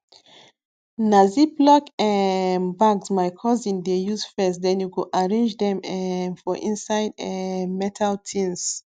na ziplock um bags my cousin dey use first then e go arrange dem um for inside um metal tins